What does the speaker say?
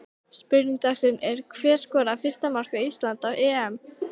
Spurning dagsins er: Hver skorar fyrsta mark Íslands á EM?